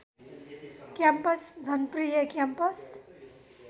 campus जनप्रिय campus